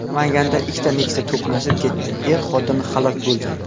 Namanganda ikkita Nexia to‘qnashib ketdi, er-xotin halok bo‘ldi.